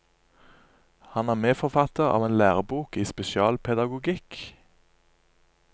Han er medforfatter av en lærebok i spesialpedagogikk.